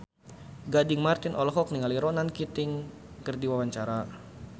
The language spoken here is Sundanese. Gading Marten olohok ningali Ronan Keating keur diwawancara